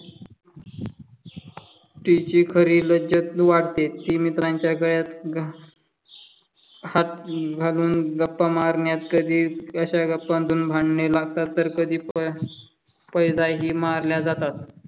तिची खरी लज्जत वाढते. मित्रांच्या गळ्यात हात घालून गप्पा मारण्यात कधी अशा गप्पांतून भांडणे लागतात. तर कधी पण पैजाही मारल्या जातात.